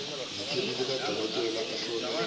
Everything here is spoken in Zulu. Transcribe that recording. nekheli likadokotela ohlole